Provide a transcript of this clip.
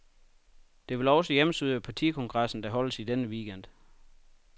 Det vil også hjemsøge partikongressen, der holdes i denne weekend.